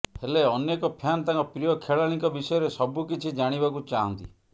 ହେଲେ ଅନେକ ଫ୍ୟାନ ତାଙ୍କ ପ୍ରିୟ ଖେଳାଳିଙ୍କ ବିଷୟରେ ସବିୁକିଛି ଜାଣିବାକୁ ଚାହାଁନ୍ତି